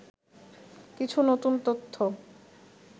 কিছু নতুন তথ্য